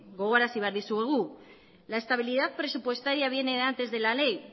gogora arazi behar dizuegu la estabilidad presupuestaria viene antes de la ley